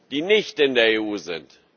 die nicht in der EU sind.